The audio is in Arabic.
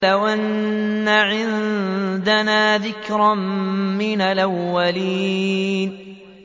لَوْ أَنَّ عِندَنَا ذِكْرًا مِّنَ الْأَوَّلِينَ